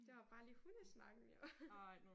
Det var bare lige hundesnakken vi var